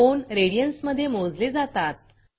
कोन radians मधे मोजले जातात